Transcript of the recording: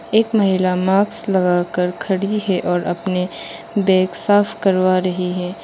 एक महिला माक्स लगाकर खड़ी है और अपने बैग साफ करवा रही है।